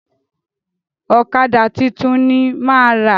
Ọ̀kadà tuntun ni máa rà.